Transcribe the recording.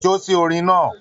Jo si orin náà.